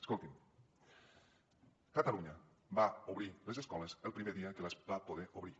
escolti’m catalunya va obrir les escoles el primer dia que les va poder obrir